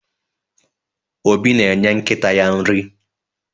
Obi na-enye nkịta ya nri.